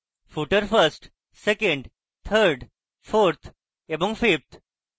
footer first second third fourth এবং fifth